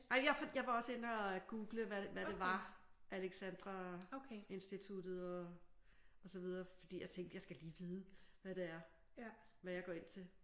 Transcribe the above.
Nej jeg var også inde og Google hvad hvad det var Alexandra Instituttet og så videre fordi jeg tænkte jeg skal lige vide hvad det er. Hvad jeg går ind til